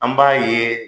An b'a ye